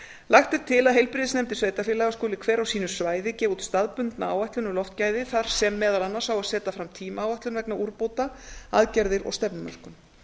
lagt er til að heilbrigðisnefndir sveitarfélaga skuli hver á sínu svæði gefa út staðbundna áætlun um loftgæði þar sem meðal annars á að setja fram tímaáætlun vegna úrbóta aðgerðir og stefnumörkun